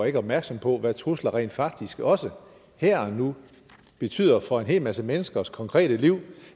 ikke opmærksom på hvad trusler rent faktisk også her og nu betyder for en hel masse menneskers konkrete liv for